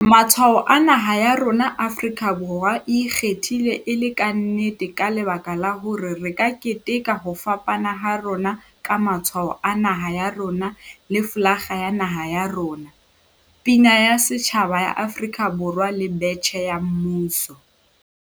Matshwao a naha ya rona Afrika Borwa e ikgethile e le ka nnete ka lebaka la hore re ka keteka ho fapana ha rona ka Matshwao a Naha ya rona le folakga ya Naha ya rona, Pina ya Setjhaba ya Afrika Borwa le Betjhe ya Mmuso.